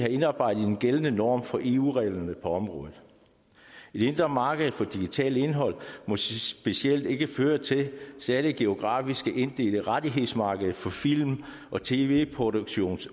indarbejdet i en gældende norm for eu reglerne på området et indre marked for digitalt indhold må specielt ikke føre til særlige geografisk inddelte rettighedsmarkeder hvor film og tv produktion